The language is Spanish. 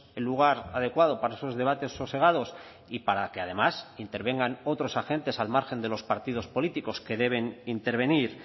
el lugar adecuado para esos debates sosegados y para que además intervengan otros agentes al margen de los partidos políticos que deben intervenir